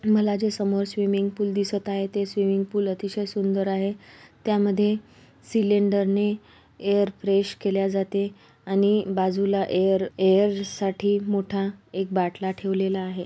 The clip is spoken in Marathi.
मला जे समोर स्विमिंग पूल दिसत आहे ते स्विमिंग पूल अतिशय सुंदर आहे त्यामध्ये सिलेंडरनी एयर फ्रेश केल्या जाते आणि बाजूला एयर-एयर साठी मोठा एक बाटला ठेवलेला आहे.